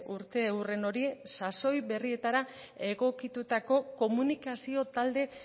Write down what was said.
urteurren hori sasoi berrietara egokitutako komunikazio talde